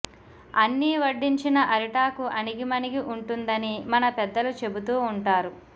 అన్నీ వడ్డించిన అరిటాకు అణిగిమణిగి ఉంటుందని మన పెద్దలు చెబుతూ ఉంటారు